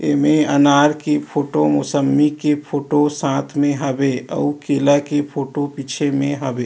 ए में अनार की फोटो मोसम्बी के फोटो साथ में हवे अउ केला के फोटो पीछे में हवे।